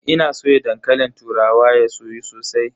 Ina soya dankalin turawa ya soyu sosai.